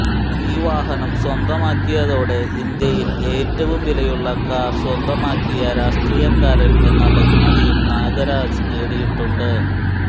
ഈ വാഹനം സ്വന്തമാക്കിയതോടെ ഇന്ത്യയിൽ ഏറ്റവും വിലയുള്ള കാർ സ്വന്തമാക്കിയ രാഷ്ട്രീയക്കാരൻ എന്ന ബഹുമതിയും നാഗരാജ് നേടിയിട്ടുണ്ട്